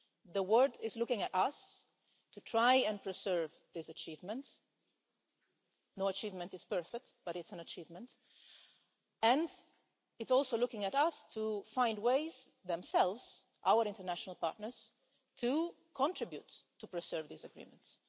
The world is looking at us to try and preserve this achievement no achievement is perfect, but it's an achievement and it's also looking at us to find ways themselves our international partners to contribute to preserving these agreements.